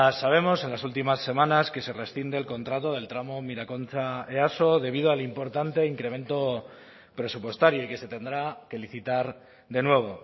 sabemos en las últimas semanas que se rescinde el contrato del tramo miraconcha easo debido al importante incremento presupuestario y que se tendrá que licitar de nuevo